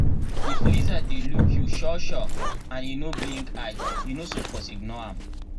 if lizard dey look you sure sure and e no blink eye you no suppose ignore am.